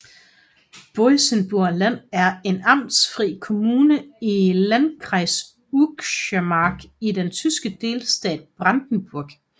Boitzenburger Land er en amtsfri kommune i landkreis Uckermark i den tyske delstat Brandenburg